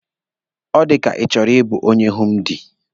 Ọ dịka Ị chọrọ ịbụ onye hindu.